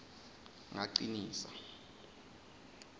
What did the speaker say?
ngacinisa